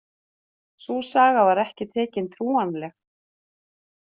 Sú saga var ekki tekin trúanleg